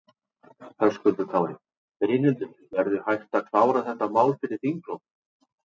Höskuldur Kári: Brynhildur, verður hægt að klára þetta mál fyrir þinglok?